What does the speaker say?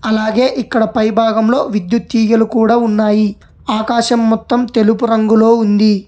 అలాగే ఇక్కడ పైభాగంలో విద్యుత్ తీగలు కూడా ఉన్నాయి ఆకాశం మొత్తం తెలుపు రంగులో ఉంది.